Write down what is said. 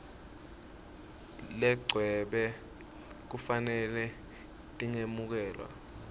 legcwele kufanele tingemukelwa